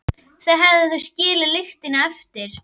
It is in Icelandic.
Þá hefðu þau skilið lykilinn eftir.